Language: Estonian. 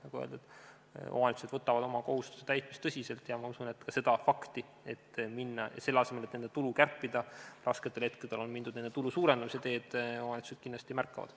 Nagu öeldud, omavalitsused võtavad oma kohustuste täitmist tõsiselt ja ma usun ka seda fakti – selle asemel, et nende tulu kärpida rasketel hetkedel, on mindud tulu suurendamise teed – omavalitsused kindlasti märkavad.